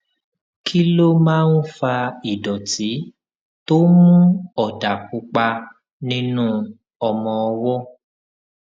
kí ló máa ń fa ìdòtí tó ń mú òdà pupa nínú ọmọ ọwó